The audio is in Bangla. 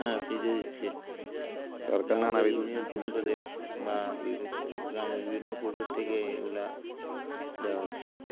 হ্যাঁ free তে দিচ্ছে union পরিশোধে বা গ্রামের বিভিন্ন পরিশোধ থেকে এগুলা দেওয়া হচ্ছে